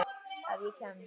Ef ég kemst.